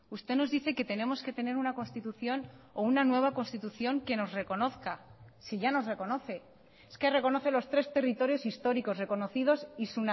usted nos dice que tenemos que tener una constitución o una nueva constitución que nos reconozca si ya nos reconoce es que reconoce los tres territorios históricos reconocidos y